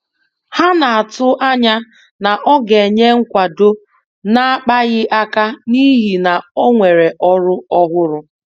Ha na-atụanya na ọ ga-enye nkwado na-akpaghị aka n'ihi na onwere ọrụ ọhụrụ.